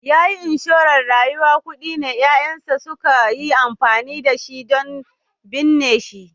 Yayi inshora na rayuwa, kuɗin ne ƴaƴansa suka yi amfani da shi don binne shi